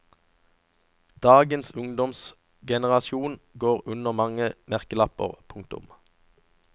Dagens ungdomsgenerasjon går under mange merkelapper. punktum